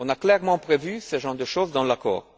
On a clairement prévu ce genre de choses dans l'accord.